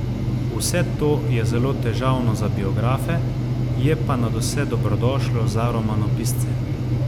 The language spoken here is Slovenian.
Vse to je zelo težavno za biografe, je pa nadvse dobrodošlo za romanopisce.